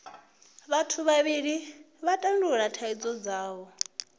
vhathu vhavhili vha tandulula thaidzo dzavho